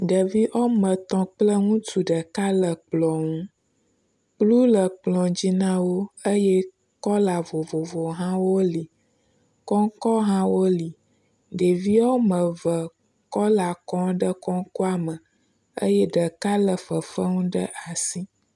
Ɖevi ame etɔ̃ kpleŋutsu ɖeka le kplɔ ŋu, kplu le kplɔ dzi na wo eye kɔla vovovowo hã wole. Kɔŋkɔ hã woli, ɖevi woame eve kɔla kɔm ɖe kɔŋkɔa me eye ɖeka le fefe nu ɖe asi.